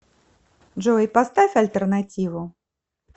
джой поставь альтернативу